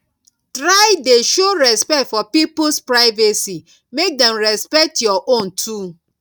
try de show respect for pipos privacy make dem respect your own too